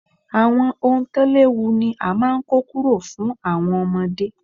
Àwọn ohun tó léwu ni a máa ń kọ́ kúrò fún àwọn ọmọdé.